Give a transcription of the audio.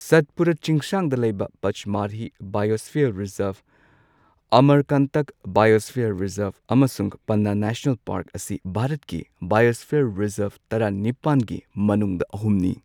ꯁꯠꯄꯨꯔꯥ ꯆꯤꯡꯁꯥꯡꯗ ꯂꯩꯕ ꯄꯆꯃꯔꯍꯤ ꯕꯥꯏꯌꯣꯁ꯭ꯐꯤꯌꯔ ꯔꯤꯖꯔ꯭ꯕ, ꯑꯃꯔꯀꯥꯟꯇꯛ ꯕꯥꯏꯌꯣꯁ꯭ꯐꯤꯌꯔ ꯔꯤꯖꯔ꯭ꯕ, ꯑꯃꯁꯨꯡ ꯄꯟꯅꯥ ꯅꯦꯁꯅꯦꯜ ꯄꯥꯔ꯭ꯛ ꯑꯁꯤ ꯚꯥꯔꯠꯀꯤ ꯕꯥꯏꯌꯣꯁ꯭ꯐꯤꯌꯔ ꯔꯤꯖꯔ꯭ꯕ ꯇꯔꯥꯅꯤꯄꯥꯟꯒꯤ ꯃꯅꯨꯡꯗ ꯑꯍꯨꯝꯅꯤ꯫